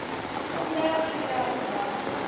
khumbelo i tea u ḓadzwa